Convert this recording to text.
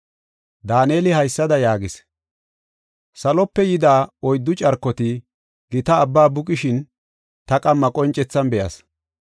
Daaneli haysada yaagis: “Salope yida oyddu carkoti gita abba buqishin ta qamma qoncethan be7as.